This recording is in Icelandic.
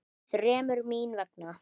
Þremur. mín vegna.